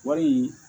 Wari